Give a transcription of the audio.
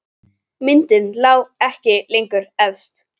Myndin lá ekki lengur efst.